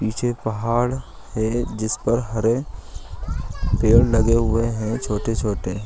पीछे पहाड़ है जिस पर हरे पेड़ लगे हुए हैं छोटे-छोटे।